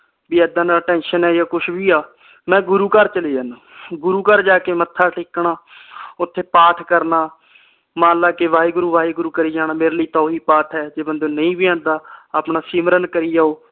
B ਏਦਨ ਆ tension ਆ ਜਾ ਕੁਝ ਵੀ ਆ ਮੈਂ ਗੁਰੂ ਘਰ ਚਲੇ ਜਾਣਾ ਗੁਰੂ ਘਰ ਜਾ ਕੇ ਮੱਥਾ ਟੇਕਣਾ ਓਥੇ ਪਾਠ ਕਰਨਾ ਮਨ ਲੈ ਕੇ ਵਾਹਿਗੁਰੂ ਵਾਹਿਗੁਰੂ ਕਰੀ ਜਾਣਾ ਮੇਰੇ ਲਈ ਤਾ ਓਹੀ ਪਾਠ ਏ ਜੇ ਬੰਦੇ ਨੂੰ ਨਹੀਂ ਵੀ ਆਂਦਾ ਆਪਣਾ ਸਿਮਰਨ ਕਰੀ ਜਾਓ।